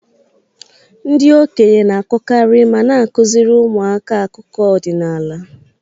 Ndị okenye na-akọkarị ma na-akụziri ụmụaka akụkọ ọdinala.